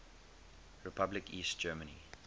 republic east germany